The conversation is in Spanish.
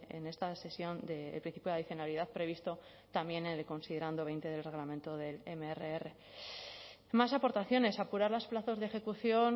en esta sesión el principio de adicionalidad previsto también en el considerando veinte del reglamento del mrr más aportaciones apurar los plazos de ejecución